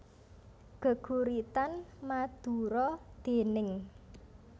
Geguritan Madura déning